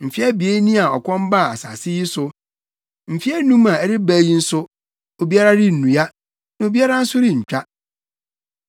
Mfe abien ni a ɔkɔm baa asase yi so. Mfe anum a ɛreba yi nso, obiara rennua, na obiara nso rentwa.